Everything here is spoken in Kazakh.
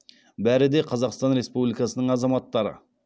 бәрі де қазақстан республикасының азаматтары